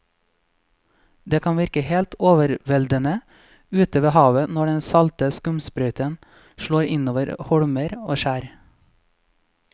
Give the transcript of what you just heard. Det kan virke helt overveldende ute ved havet når den salte skumsprøyten slår innover holmer og skjær.